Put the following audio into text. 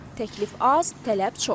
Təklif az, tələb çox.